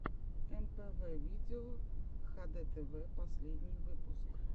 мпв видео хдтв последний выпуск